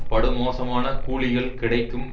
படுமோசமான கூலிகள் கிடைக்கும்